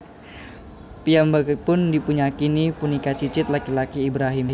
Piyambakipun dipunyakini punika cicit laki laki Ibrahim